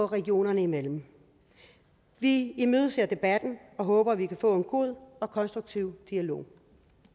regionerne imellem vi imødeser debatten og håber at vi kan få en god og konstruktiv dialog